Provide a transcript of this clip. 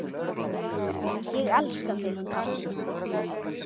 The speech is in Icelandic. Elska þig, pabbi.